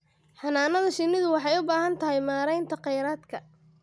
Xannaanada shinnidu waxay u baahan tahay maaraynta kheyraadka.